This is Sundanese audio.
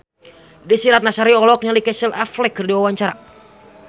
Desy Ratnasari olohok ningali Casey Affleck keur diwawancara